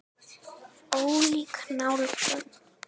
Ólík nálgun.